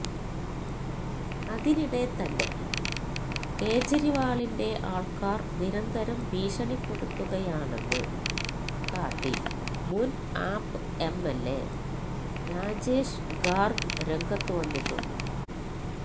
അതിനിടെ തന്നെ കേജ്രിവാളിന്റെ ആള്ക്കാര് നിരന്തരം ഭീഷണിപ്പെടുത്തുകയാണെന്ന് കാട്ടി മുന് ആപ്പ് എംഎല്എ രാജേഷ് ഗാര്ഗ് രംഗത്തു വന്നിട്ടുണ്ട്